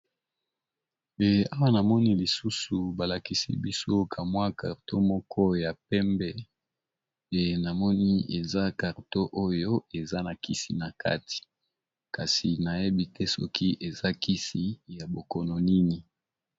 Awa na moni lisusu ba lakisi biso kamwa karton moko ya pembe pe na moni eza carton oyo eza na kisi na kati kasi na yebi te soki eza kisi ya bokono nini.